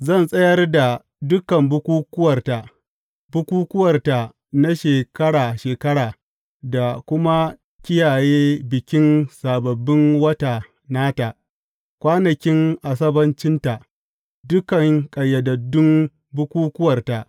Zan tsayar da dukan bukukkuwarta, bukukkuwarta na shekara shekara, da kuma kiyaye bikin Sababbin Wata nata, kwanakin Asabbacinta, dukan ƙayyadaddun bukukkuwarta.